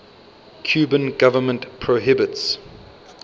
cuban government prohibits